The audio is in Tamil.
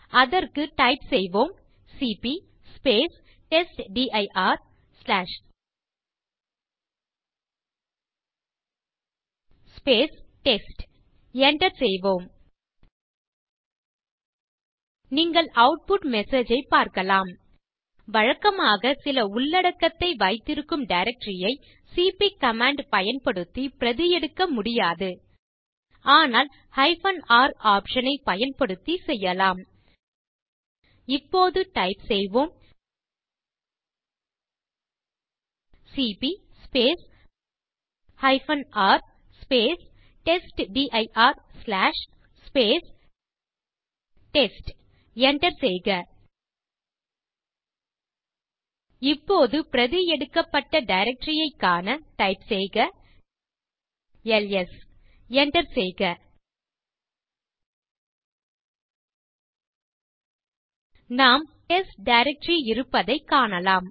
அதற்கு டைப் செய்வோம் சிபி டெஸ்ட்டிர் டெஸ்ட் enter செய்க நீங்கள் ஆட்புட் மெசேஜ் ஐ பார்க்கலாம் வழக்கமாக சில உள்ளடக்கத்தை வைத்திருக்கும் டைரக்டரி ஐ சிபி கமாண்ட் பயன்படுத்தி பிரதி எடுக்க முடியாது ஆனால் R ஆப்ஷன் ஐ பயன்படுத்தி செய்யலாம் இப்போது டைப் செய்வோம் CP R testdir test enter செய்க இப்போது பிரதி எடுக்கப்பட்ட டைரக்டரி ஐக் காண டைப் செய்க எல்எஸ் enter செய்க நாம் டெஸ்ட் டைரக்டரி இருப்பதைக் காணலாம்